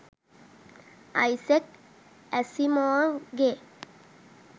Isaac Asimov ගේ